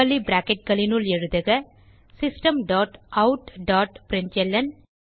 curly bracketகளுனுள் எழுதுக system dot out dot println